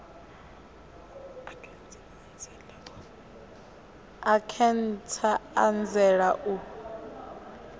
a khentsa a anzela u